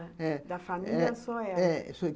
É, da família só ela? É, sim.